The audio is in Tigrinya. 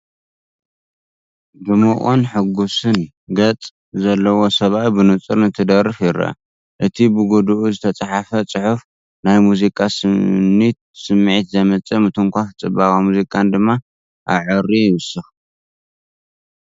ድሙቕን ሕጉስን ገጽ ዘለዎ ሰብኣይ ብንጹር እንትደርፍ ይርአ። እቲ ብጐድኒ ዝተጻሕፈ ጽሑፍ፡ ናይ ሙዚቃ ስኒት ስምዒት ዘምጽእ ምትንኻፍ ጽባቐ ሙዚቃን ድማ ኣዕርዩ ይውስኽ።